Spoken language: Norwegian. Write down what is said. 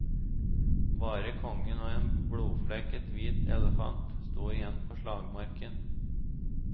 Bare kongen og en blodflekket hvit elefant sto igjen på slagmarken.